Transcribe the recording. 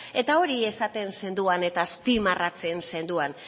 eta hori esaten zenuen eta azpimarratzen zenuen